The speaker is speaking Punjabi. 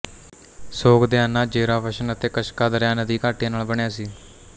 ਸੋਗਦਿਆਨਾ ਜ਼ੇਰਾਵਸ਼ਨ ਅਤੇ ਕਸ਼ਕਾਦਰਿਆ ਨਦੀ ਘਾਟੀਆਂ ਨਾਲ ਬਣਿਆ ਸੀ